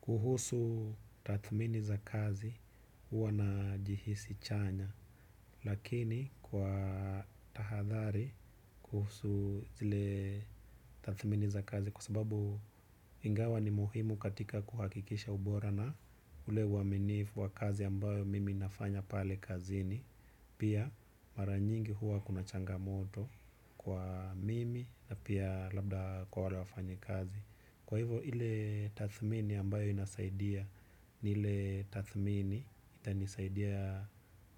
Kuhusu tathmini za kazi huwa najihisi chanya, lakini kwa tahadhari kuhusu zile tathmini za kazi kwa sababu ingawa ni muhimu katika kuhakikisha ubora na ule uaminifu wa kazi ambayo mimi nafanya pale kazini. Pia mara nyingi huwa kuna changamoto kwa mimi na pia labda kwa wale wafanyikazi. Kwa hivo ile tathmini ambayo inasaidia ni ile tathmini itanisaidia